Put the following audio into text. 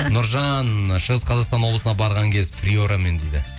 нұржан шығыс қазақстан облысына барған кез приорамен дейді